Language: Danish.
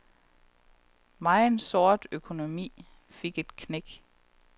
Megen sort økonomi fik et knæk.